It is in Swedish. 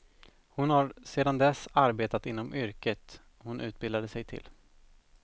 Hon har sedan dess arbetat inom yrket hon utbildade sig till.